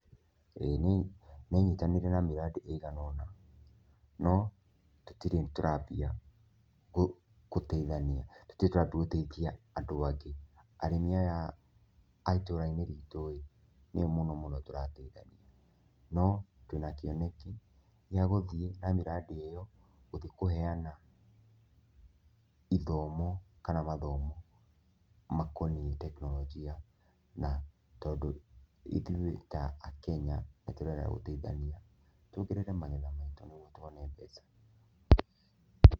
ĩĩ nĩ nyitanĩire na mĩrandi ĩiganona no tũtirĩ tũrambia gũteithania tũtirĩ tũrathi gũteithia andũ angĩ. Arĩmi aya a itũra-inĩ ritũ nĩo mũno mũno tũrateithania no twĩna kĩoneki gĩa gũthiĩ na mĩrandi ĩyo gũthiĩ kũheana ithomo kana mathomo makoniĩ tekinoronjia na tondũ ithuĩ ta akenya nĩ tũregaga gũteithania tuongerere magetha maitũ nĩguo tuone mbeca.